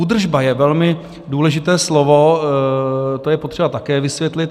Údržba je velmi důležité slovo, to je potřeba také vysvětlit.